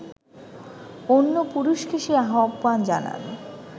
অন্য পুরুষকে সে আহ্বান জানায়